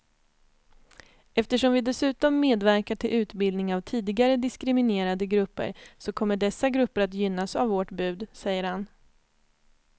Eftersom vi dessutom medverkar till utbildning av tidigare diskriminerade grupper så kommer dessa grupper att gynnas av vårt bud, säger han.